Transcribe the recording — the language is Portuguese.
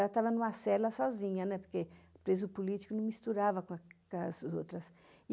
Ela estava numa cela sozinha, porque o preso político não misturava com as outras.